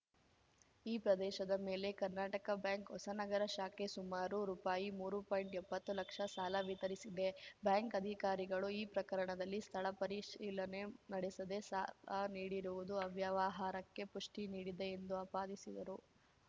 ಈ ಪ್ರದೇಶದ ಮೇಲೆ ಕರ್ನಾಟಕ ಬ್ಯಾಂಕ್‌ ಹೊಸನಗರ ಶಾಖೆ ಸುಮಾರು ರೂಪಾಯಿ ಮೂರುಪಾಯಿಂಟ್ಎಪತ್ತು ಲಕ್ಷ ಸಾಲ ವಿತರಿಸಿದೆ ಬ್ಯಾಂಕ್‌ ಅಧಿಕಾರಿಗಳು ಈ ಪ್ರಕರಣದಲ್ಲಿ ಸ್ಥಳ ಪರಿಶೀಲನೆ ನಡೆಸದೇ ಸಾಲ ನೀಡಿರುವುದು ಅವ್ಯವಹಾರಕ್ಕೆ ಪುಷ್ಟಿನೀಡಿದೆ ಎಂದು ಆಪಾದಿಸಿದರು